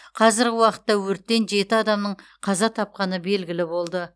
қазіргі уақытта өрттен жеті адамның қаза тапқаны белгілі болды